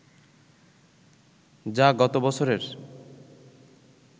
যা গত বছরের